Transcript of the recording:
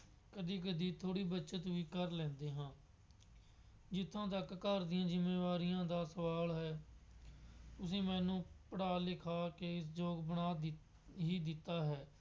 ਕਦੀ ਕਦੀ ਥੋੜ੍ਹੀ ਬੱਚਤ ਵੀ ਕਰ ਲੈਂਦੇ ਹਾਂ। ਜਿੱਥੋਂ ਤੱਕ ਘਰ ਦੀਆਂ ਜ਼ਿੰਮੇਵਾਰੀਆਂ ਦਾ ਸਵਾਲ ਹੈ ਤੁਸੀਂ ਮੈਨੂੰ ਪੜ੍ਹਾ ਲਿਖਾ ਕੇ ਯੋਗ ਬਣਾ ਦਿੱਤ ਹੀ ਦਿੱਤਾ ਹੈ।